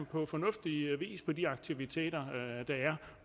på fornuftig vis på de aktiviteter der er